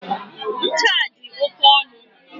Ncha dị oke ọnụ.